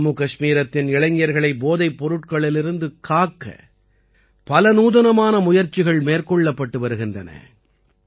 ஜம்முகஷ்மீரத்தின் இளைஞர்களை போதைப் பொருட்களிலிருந்து காக்க பல நூதனமான முயற்சிகள் மேற்கொள்ளப்படுகின்றன